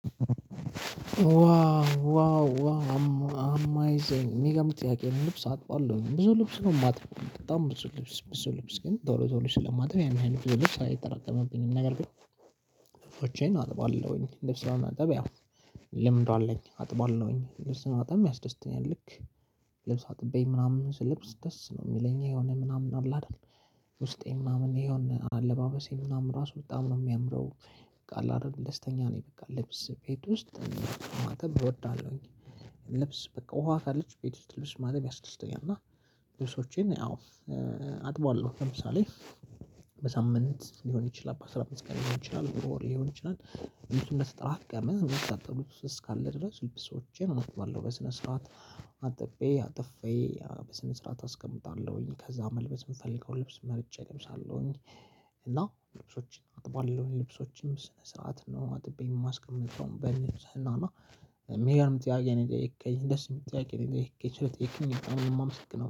ዋው ዋው አማይዘንግ የሚገምት ጥያቄ ነው ልብስ አጥቧለሁ ብዙ ልብስ ነው የማትበው በጣም ብዙ ልብስ ብዙ ልብስ ግን ዞሮ ዞሮ ስለማጥበው ያን ያን ብዙ ልብስ አይጠራቀምብኝም። ነገር ግን አጥባለሁኝ ልብስ ለማጠበቅ ያው ልምድ አለኝ አጥባለሁኝ ልብስ ነው አጥባለሁኝ ያስደስተኛል። ልክ ልብስ አጥቤ ምናምን ስለብስ ደስ ነው የሚለኝ የሆነ ምናምን አለ። አይደል ውስጤ ምናምን ይሆን አለባበሴ ምናምን ራሱ በጣም ነው የሚያምረው በቃ አለ አይደል ደስተኛ ነኝ በቃ ልብስ ቤት ውስጥ ማጠብ እወዳለሁኝ። ልብስ በቃ ውሃ ካለች ቤት ውስጥ ልብስ ማጠብ ያስደስተኛል። እና ልብሶቼን አዎ አጥበዋለሁ ለምሳሌ በሳምንት ሊሆን ይችላል በአስራ አምስት ቀን ሊሆን ይችላል በወር ይችላል። እንደተራቀመ መጠን እንዳሳጥሉት እስካለ ድረስ ልብሶቼን አጥባለሁ በስነ ስርዓት አጥቤ አጥፌ በስነ ስርዓት አስቀምጣለሁኝ ከዛ መልበስ የምፈልገው ልብስ መርጬ እለብሳለሁኝ። እና ልብሶችን አጥቧል ልብሶችንም ስነ ስርዓት ነው። አጥቤ የማስቀምጠውን በልብስ እና የሚገርም ጥያቄ ነው የጠየከኝ ደስ የሚጠያቂ ነው የጠየከኝ ስለጠየከኝ ነው የማመሰግነው